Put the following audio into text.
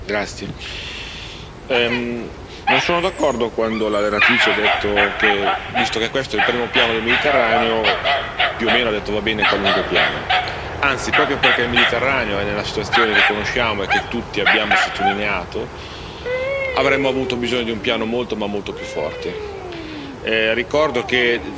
Signor Presidente, onorevoli colleghi, non sono d'accordo quando la relatrice ha detto che, visto che questo è il primo piano del Mediterraneo, più o meno va bene qualunque piano. Anzi, proprio perché il Mediterraneo è nella situazione che conosciamo e che tutti abbiamo sottolineato, avremmo avuto bisogno di un piano molto ma molto più forte.